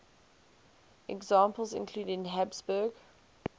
examples include habsburg